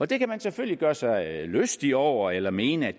det kan man selvfølgelig gøre sig lystig over eller mene at